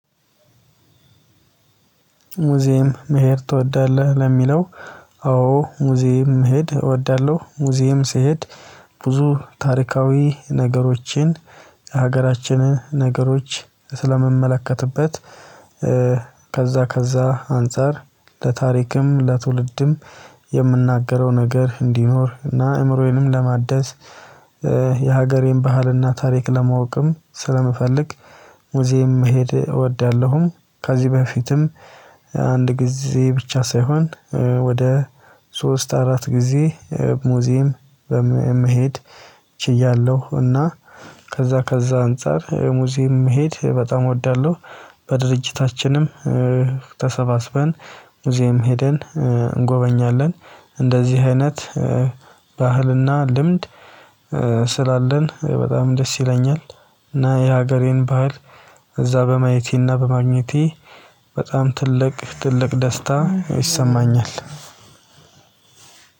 ሙዚየም መሄድ ትወዳለህ? ለሚለው አዎ ሙዚየም መሄድ እወዳለሁ ሙዚየም ስሄድ ብዙ ታሪካዊ ነገሮችን የሀገራችንን ነገሮች ስለምመለከትበት። ከዛ ከዛ አንፃር ለታሪክም ለትውልድም የምናገረው ነገር እንዲኖር እና አይምሮዬንም ለማደስ የሀገር ባህልና ታሪክ ለማወቅም ስለምፈልግ ሙዜም መሄድ እወዳለሁም። ከዚህ በፊትም አንድ ግዜ ብቻ ሳይሆን ወደ ሶስት አራት ግዜ ሙዚየም መሄድ ችያለሁ። እና ከዛ ከዛ አንፃር ሙዚየም መሄድ በጣም እወዳለሁ። በድርጅታችንም ተሰባስበን ሙዚየም ሄደን እጎበኛለን እንደዚህ አይነት ባህልና ልምድ ስላለን በጣም ደስ ይለኛል። እና የሀገሬን ባህል እዛ በማየቴና በማግኘቴ በጣም ትልቅ ትልቅ ደስታ ይሰማኛል።